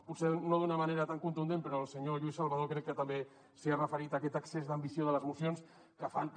potser no d’una manera tan contundent però el senyor lluís salvadó crec que també s’hi ha referit a aquest excés d’ambició de les mocions que fan que